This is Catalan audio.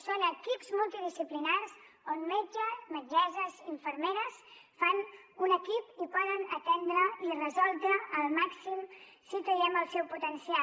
són equips multidisciplinaris on metges metgesses infermeres fan un equip i poden atendre i resoldre al màxim si traiem el seu potencial